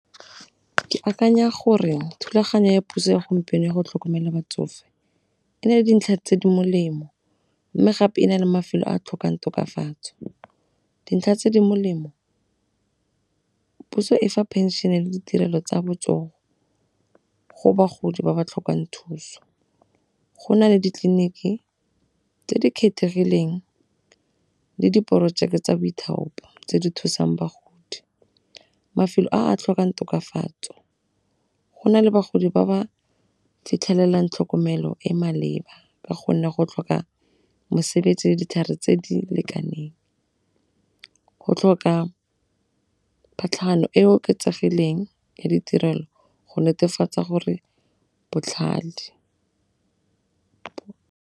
Ke akanya gore thulaganyo ya puso ya gompieno ya go tlhokomela batsofe e na le dintlha tse di molemo mme gape e na le mafelo a a tlhokang tokafatso. Dintlha tse di molemo, puso e fa phenšene le ditirelo tsa botsogo go bagodi ba ba tlhokang thuso. Go na le ditleliniki tse di kgethegileng le diporojeke tsa boithaopi tse di thusang bagodi, mafelo a a tlhokang tokafatso go na le bagodi ba ba fitlhelelang tlhokomelo e maleba ka gonne go tlhoka mosebetsi le ditlhare tse di lekaneng. Go tlhoka e oketsegileng ya ditirelo go netefatsa gore botlhale.